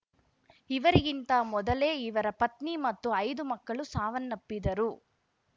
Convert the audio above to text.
ಇವರಿಗಿಂತ ಮೊದಲೇ ಇವರ ಪತ್ನಿ ಮತ್ತು ಐದು ಮಕ್ಕಳು ಸಾವನ್ನಪ್ಪಿದ್ದರು